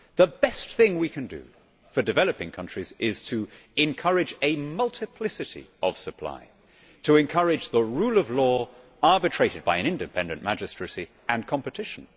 The best thing we can do for developing countries is to encourage a multiplicity of supply, encourage the rule of law, arbitrated by an independent magistracy, and encourage competition.